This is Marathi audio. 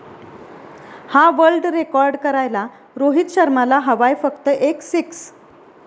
हा वर्ल्ड रेकॉर्ड करायला रोहित शर्माला हवाय फक्त एक सिक्स